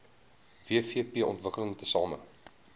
wvp ontwikkel tesame